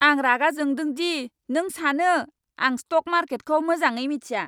आं रागा जोंदों दि नों सानो आं स्टक मार्केटखौ मोजाङै मिथिया।